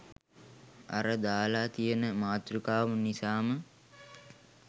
අර දාලා තියෙන මාතෘකාව නිසාම